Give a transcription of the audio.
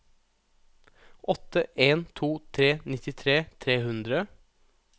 åtte en to tre nittitre tre hundre